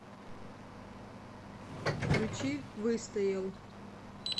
включи выстоял